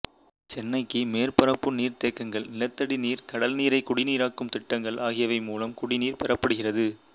சென்னைக்கு மேற்பரப்பு நீர்த்தேக்கங்கள் நிலத்தடி நீர் கடல்நீரைக் குடிநீராக்கும் திட்டங்கள் ஆகியவை மூலம் குடிநீர் பெறப்படுகிறது